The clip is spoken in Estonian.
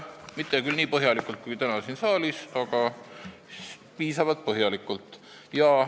Mitte küll nii põhjaliku kui täna siin saalis, aga piisavalt põhjaliku.